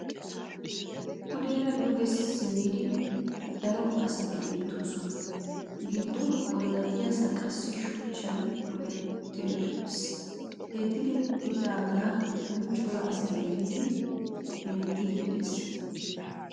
Pudeera duge simmidi daro asati beettoosona. Giddo ollatiyasan qassi shuchchan diretti uttis. He diretridaagaa giddonkka cora asay gelidi hemettiiddi des.